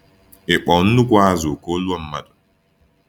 Ịkpọ nnukwu azụ ka ọ lụọ mmadụ?